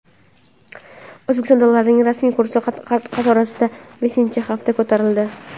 O‘zbekistonda dollarning rasmiy kursi qatorasiga beshinchi hafta ko‘tarildi.